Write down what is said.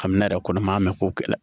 Kamina yɛrɛ kɔnɔ maa mɛ k'o kɛlɛ